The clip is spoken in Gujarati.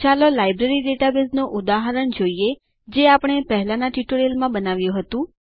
ચાલો લાઈબ્રેરી ડેટાબેઝનું ઉદાહરણ જોઈએ જે આપણે પહેલાંના ટ્યુટોરિયલ્સ બનાવ્યું હતું